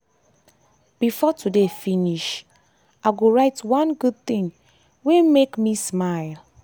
before today finish before today finish i go write one good thing wey make me smile.